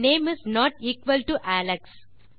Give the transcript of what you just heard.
name is not equal to Alex